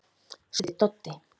spurði Doddi.